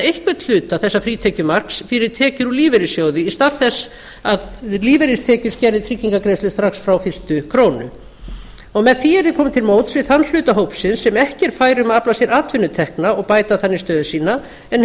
nýta einhvern hluta þessa frítekjumarks fyrir tekjur úr lífeyrissjóði í stað þess að lífeyristekjur skerði tryggingagreiðslur strax frá fyrstu krónu með því yrði komið til móts við þann hluta hópsins sem ekki er fær um að afla sér atvinnutekna og bæta þannig stöðu sína en hefur